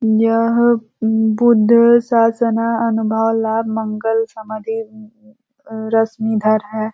यह बुद्ध शासना अनुभाव लाभ मंगल समाधी रश्मिधर है।